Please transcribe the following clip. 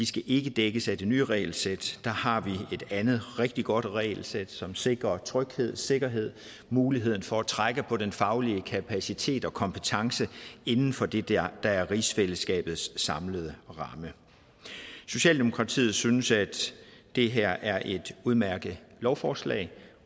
skal ikke dækkes af det nye regelsæt der har vi et andet rigtig godt regelsæt som sikrer tryghed og sikkerhed mulighed for at trække på den faglige kapacitet og kompetence inden for det der er er rigsfællesskabets samlede ramme socialdemokratiet synes at det her er et udmærket lovforslag